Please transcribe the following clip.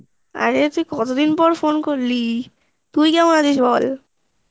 আরে তুই কতদিন পর office ফোন করলি ,তুই কেমন আছিস বল?